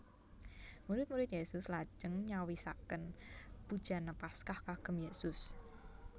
Murid murid Yesus lajeng nyawisaken bujana Paskah kagem Yesus